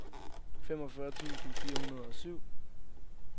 femogfyrre tusind fire hundrede og syv